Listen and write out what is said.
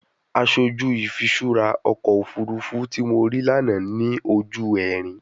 Aṣoju ifiṣura ọkọ ofurufu ti mo rii lana ni oju ẹrin